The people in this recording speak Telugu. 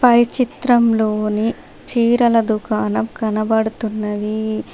పై చిత్రంలోని చీరల దుకాణం కనబడుతున్నది.